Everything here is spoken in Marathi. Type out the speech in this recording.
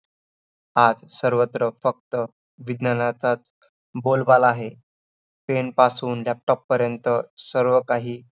आज सर्वत्र फक्त विज्ञानाचाच बोलबाला आहे. pen पासून laptop पर्यंत सर्वकाही